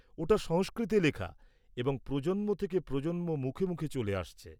-ওটা সংস্কৃতে লেখা এবং প্রজন্ম থেকে প্রজন্ম মুখে মুখে চলে আসছে।